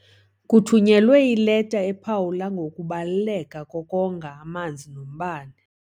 Kuthunyelwe ileta ephawula ngokubaluleka kokonga amanzi nombane.